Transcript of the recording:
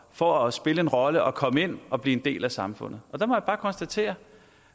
for at spille en rolle og komme ind og blive en del af samfundet der må jeg bare konstatere